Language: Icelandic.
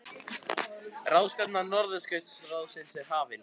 Ráðstefna Norðurskautsráðsins hafin